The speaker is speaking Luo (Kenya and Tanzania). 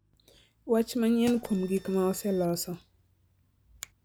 Wach manyien kuom gik ma oseloso